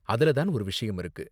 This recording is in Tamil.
அதுல தான் ஒரு விஷயம் இருக்கு.